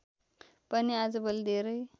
पनि आजभोलि धेरै